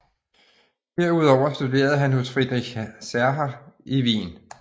Herudover studerede han hos Friedrich Cerha i Wien